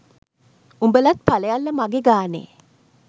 උඹලත් පලයල්ල මගේ ගානෙ